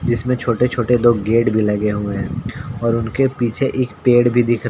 जिस में छोटे-छोटे दो गेट भी लगे हुए है और उनके पीछे एक पेड़ भी दिख रहा--